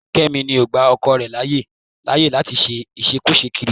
Kẹ́mi ni ó gba ọkọ rẹ̀ láyé láyè láti ṣe ìṣekúṣe kiri